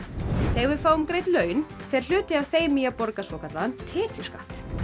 þegar við fáum greidd laun fer hluti af þeim í að borga svokallaðan tekjuskatt